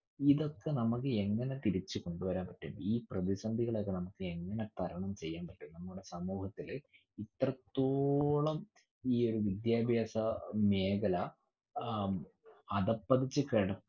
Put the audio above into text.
ഇതൊക്കെ നമ്മക്ക് എങ്ങിനെ തിരിച്ചുകൊണ്ടുവരാൻ പറ്റും. ഈ പ്രതിസന്ധികളെയൊക്കെ നമ്മക്ക് എങ്ങിനെ തരണം ചെയ്യാൻ പറ്റും. നമ്മുടെ സമൂഹത്തില് എത്രത്തോളം ഈയൊരു വിദ്യാഭ്യാസ അഹ് മേഖല അഹ്